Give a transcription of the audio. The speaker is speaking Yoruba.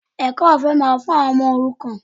Ẹ̀kọ́ ọ̀fẹ́ máa wà fún àwọn ọmọ òrukàn